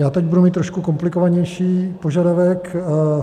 Já teď budu mít trošku komplikovanější požadavek.